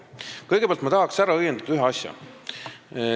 Kõigepealt, ma tahaksin ära õiendada ühe asja.